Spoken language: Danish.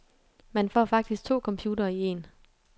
Man får faktisk to computere i en.